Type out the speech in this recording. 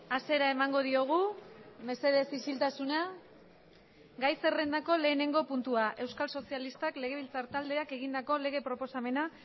hasiera emango diogu mesedez isiltasuna gai zerrendako lehenengo puntua euskal sozialistak legebiltzar taldeak egindako lege proposamena